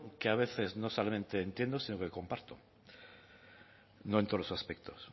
que a veces no solamente entiendo sino que comparto no en todos los aspectos